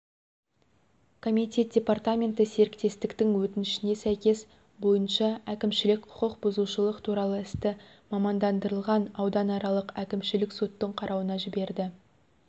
комитет департаменті серіктестіктің өтінішіне сәйкес бойынша әкімшілік құқық бұзушылық туралы істі мамандандырылған ауданаралық әкімшілік соттың қарауына жіберді